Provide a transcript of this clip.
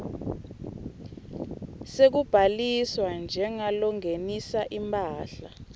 sekubhaliswa njengalongenisa imphahla